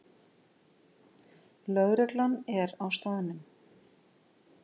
Lögreglan er á staðnum